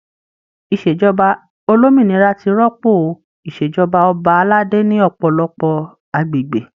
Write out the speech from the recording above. Ìṣèjọba olómìnira ti rọ́pò o Ìṣèjọba ọba aládé ní ọpọlọpọ agbègbè.